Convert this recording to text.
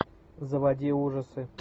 заводи ужасы